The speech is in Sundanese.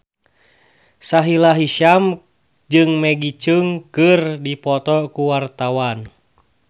Sahila Hisyam jeung Maggie Cheung keur dipoto ku wartawan